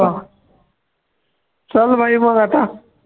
चल भाई मग आता